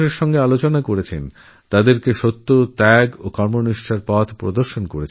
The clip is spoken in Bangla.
তিনি মানুষের সঙ্গে মিশেছেন তাদেরকে সততা ত্যাগ ও কর্মনিষ্ঠার পথদেখিয়েছেন